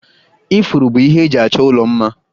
Ifuru bụ ihe eji achọ ụlọ mma